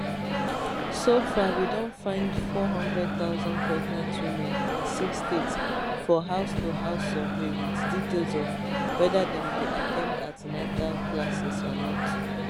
so far we don find 400000 pregnant women in six states for housetohouse survey wit details of weda dem dey at ten d an ten atal [classes] or not